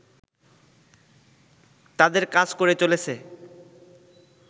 তাদের কাজ করে চলেছে